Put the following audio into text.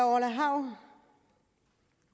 orla hav